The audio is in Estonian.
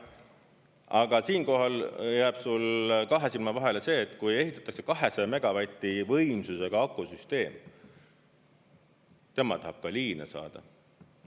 Aga siinkohal jääb sul kahe silma vahele see, et kui ehitatakse 200 megavati võimsusega akusüsteem, tema tahab ka liine saada.